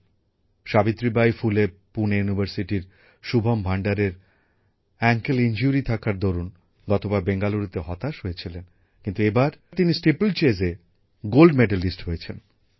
পুণের সাবিত্রীবাই ফুলে বিশ্ববিদ্যালয়ের শুভম ভান্ডারের হাটুতে চোট থাকার দরুন গতবার বেঙ্গালুরুতে হতাশ হয়েছিলেন কিন্তু এবার তিনি স্টিপলচেজে সোনা জিতেছেন